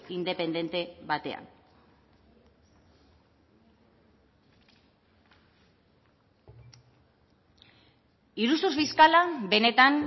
independente batean iruzur fiskala benetan